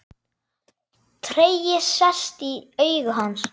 Tregi sest í augu hans.